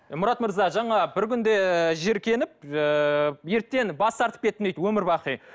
мұрат мырза жаңа бір күнде жиіркеніп ыыы еттен бас тартып кеттім дейді өмір бақи